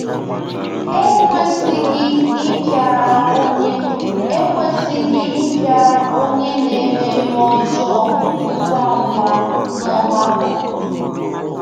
Ha ekwesịghị ịpịara onye ekwesịghị ịpịara onye na-eme ihe ọjọọ ngwa ngwa n’ọgbakọ.